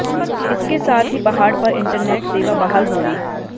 इसके साथ ही पहाड़ पर इंटरनेट सेवा बहाल हो गई